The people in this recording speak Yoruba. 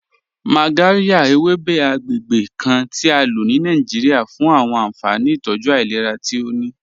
Magàryà, èwébè̩ àgbègbè̩ kàn ti à ló ní Nàìjíríà fún àwọn ànfàní ìtọ́jú ailẹ̀rà tí ó ní.